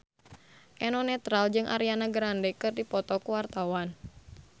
Eno Netral jeung Ariana Grande keur dipoto ku wartawan